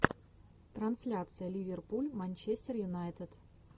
трансляция ливерпуль манчестер юнайтед